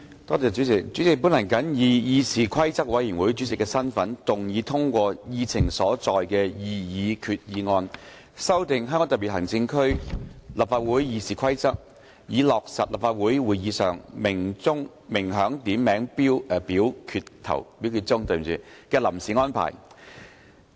代理主席，本人謹以議事規則委員會主席的身份，動議通過議程所載的擬議決議案，修訂《香港特別行政區立法會議事規則》，以落實立法會會議上鳴響點名表決鐘的臨時安排。